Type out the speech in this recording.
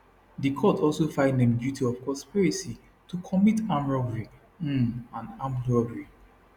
di court also find dem guilty of conspiracy to commit armed robbery um and armed robbery